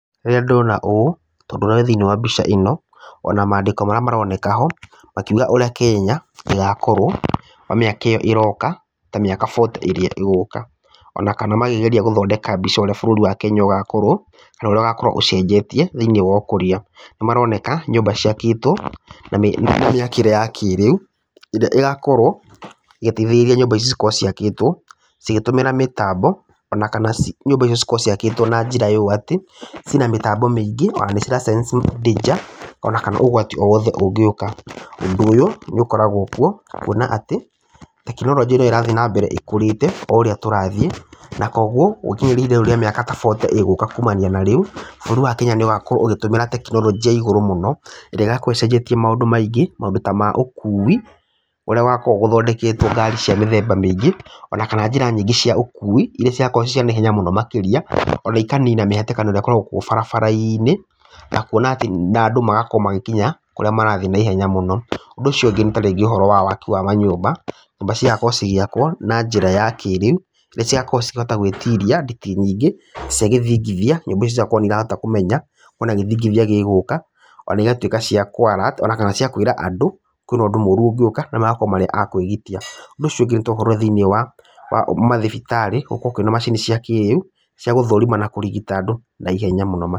Rĩrĩra ndona ũũ tondũ ũria wĩ thĩiniĩ wa mbica ĩno, ona mandĩko marĩa maroneka ho, makiuga ũrĩa Kenya ĩgakorwo kwa mĩaka ĩyo ĩroka ta mĩaka forty ĩgũka. Ona kana makĩgeria gũthondeka mbica ũria bũrũri wa Kenya ũgakorwo, kana ũrĩa ũgakorwo ũcenjetie thĩiniĩ wa ukũria. Nĩ maroneka nyũmba ciakĩtwo na mĩakĩre ya kĩrĩu, ĩrĩa ĩgakorwo igiteithĩrĩria nyũmba ici cikorwo ciakĩtwo ĩgĩtũmĩra mĩtambo ona kana nyũmba icio cikorwo ciakĩtwo na njira ũũ atĩ, ciĩna mĩtambo miingĩ ona nĩ cira sense danger, ona kana ũgwati o wothe ũngĩũka. Ũndũ ũyũ nĩ ũkoragwo kuo kuona atĩ tekinoronjĩ ĩrĩa ĩrathi ĩna mbere ĩkũrĩte, o ũrĩa tũrathiĩ, na koguo ũkĩringithania igũrũ rĩa mĩaka ta forty ĩgũka ta rĩu, bũrũri wa Kenya nĩ ũgakorwo ũgĩtũmĩra tekinoronjĩ ya igũrũ mũno, ĩrĩa ĩgakorwo icenjetie maũndũ maingĩ maũndũ ta ma ũkui, kũrĩa gũgakorwo gũthondeketwo ngari cia mĩthemba mĩingĩ ona kana njĩra nyingĩ cia ũkui, iria cigakorwo ciĩ cia naihenya mũno makĩria ona ikanina mĩhatĩkano ĩrĩa ĩkoragwo kuo barabara-inĩ, na kuona atĩ andũ magakorwo magĩkinya kũrĩa marathiĩ na ihenya mũno. Ũndũ ũcio ũngĩ, nĩ ta waki wa ũhoro wa manyũmba, nyũmba cigakorwo cigĩakwo na njĩra ya kĩrĩu. Nĩ cigakorwo cikihota gwĩtiria nditi nyingĩ cia gĩthingithia, nyũmba icio igakorwo nĩ irahota kũmenya ona gĩthingithia gĩgũka, ona igatuĩka ciakũ alert ona kana ciakwĩra andũ, kwĩna ũndũ mũru ũngĩũka na magakorwo marĩ a kwĩgitĩra. Ũndũ ũcio ũngĩ, nĩ ta ũhoro wa thĩiniĩ wa mathibitarĩ gũkorwo kwĩna macini cia kĩrĩu cia gũthũrima na kũrigita andũ naihenya mũno makĩria.